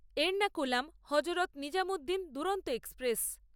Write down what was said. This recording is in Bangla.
এড়নাকুলাম হজরত নিজামুদ্দীন দুরন্ত এক্সপ্রেস